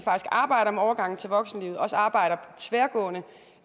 arbejder med overgangen til voksenlivet og at arbejder tværgående